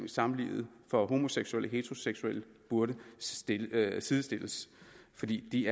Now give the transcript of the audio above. samlivet for homoseksuelle heteroseksuelle burde sidestilles fordi de